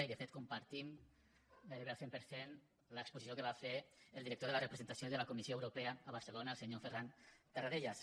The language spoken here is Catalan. i de fet compartim gairebé al cent per cent l’exposició que va fer el director de la representació de la comissió europea a barcelona el senyor ferran tarradellas